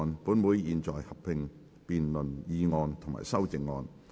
本會現在合併辯論議案及修正案。